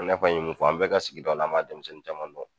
I n'a fɔ an ye mun fɔ, an bɛ ka sigidaw an m'a denmisɛnnin caman dɔn.